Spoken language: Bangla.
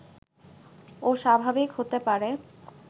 ও স্বাভাবিক হতে পারে